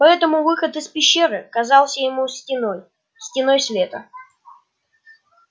поэтому выход из пещеры казался ему стеной стеной света